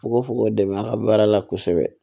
Fukofuko dɛmɛ a ka baara la kosɛbɛ